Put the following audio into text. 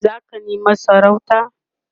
zaka nema sarauta?